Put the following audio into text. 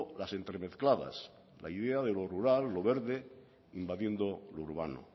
las entremezcladas la idea de lo rural lo verde invadiendo lo urbano